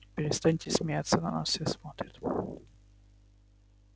перестаньте смеяться на нас все смотрят